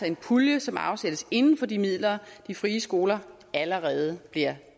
en pulje som afsættes inden for de midler de frie skoler allerede bliver